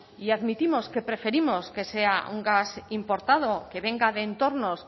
y admitimos que preferimos que sea un gas importado que venga de entornos